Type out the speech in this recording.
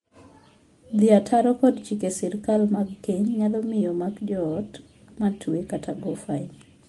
Dhii ataro kod chike sirkal mag keny nyalo miyo mak joot ma twe kata go fai.